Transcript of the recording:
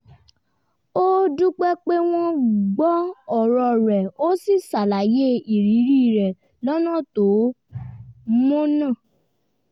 ó dúpẹ́ pé wọ́n gbọ́ ọ̀rọ̀ rẹ̀ ó sì ṣàlàyé ìrírí rẹ̀ lọ́nà tó mọ̀nà